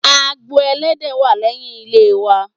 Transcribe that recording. Agbo Ẹlẹ́dẹ̀ wà lẹ́yìn ilé wa.